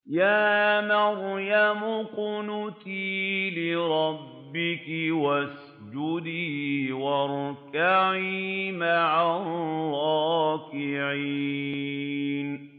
يَا مَرْيَمُ اقْنُتِي لِرَبِّكِ وَاسْجُدِي وَارْكَعِي مَعَ الرَّاكِعِينَ